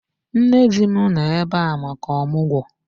Nne di m nọ ebe a maka ọmụgwọ